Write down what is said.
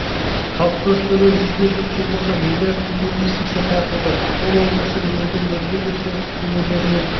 қалыптастыруда жүзге жуық жобаға миллард теңге инвестиция тартылды ақмола облысы елдің өзге де солтүстік өңірлерімен